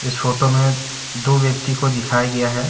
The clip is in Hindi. इस फोटो में दो व्यक्ति को दिखाया गया है।